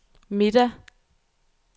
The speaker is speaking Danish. middag